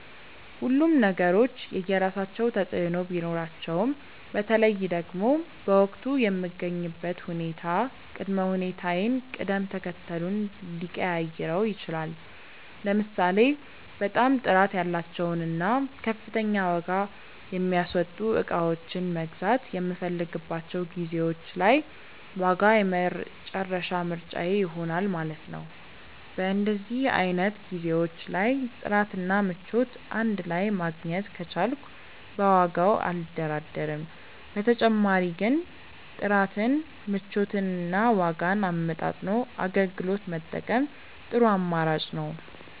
ሁሉም ነገሮች የየራሳቸው ተፅእኖ ቢኖራቸውም በተለይ ደግሞ በወቅቱ የምገኝበት ሁኔታ ቅድመ ሁኔታዬን ቅደም ተከተሉን ሊቀያይረው ይችላል። ለምሳሌ በጣም ጥራት ያላቸውን እና ከፍተኛ ዋጋ የሚያስወጡ እቃዎችን መግዛት የምፈልግባቸው ጊዜዎች ላይ ዋጋ የመጨረሻ ምርጫዬ ይሆናል ማለት ነው። በእንደዚህ አይነት ጊዜዎች ላይ ጥራት እና ምቾት እንድ ላይ ማግኘት ከቻልኩ በዋጋው አልደራደርም። በተጨማሪ ግን ጥራትን፣ ምቾትን እና ዋጋን አመጣጥኖ አገልግሎት መጠቀም ጥሩ አማራጭ ነው።